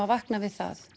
vakna við það